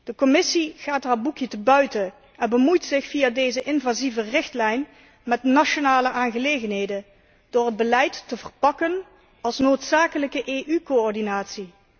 De Commissie gaat haar boekje te buiten en bemoeit zich via deze invasieve richtlijn met nationale aangelegenheden door het beleid te verpakken als noodzakelijke EU coördinatie.